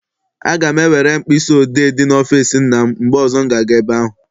Aga m ewere mkpịsị odee dị n'ọfịịsi nna m mgbe ọzọ m ga- aga ebe ahụ.